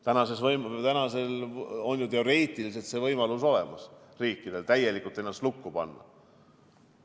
Teoreetiliselt on see võimalus riikidel ju praegu olemas, saab ennast täielikult lukku panna.